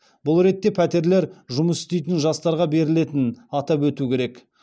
бұл ретте пәтерлер жұмыс істейтін жастарға берілетінін атап өту керек